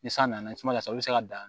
Ni san nana i tina ka se u be se ka dan